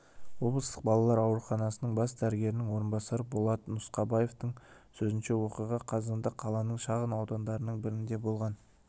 облыстық балалар ауруханасының бас дәрігерінің орынбасары болат нұсқабаевтың сөзінше оқиға қазанда қаланың шағын аудандарының бірінде болған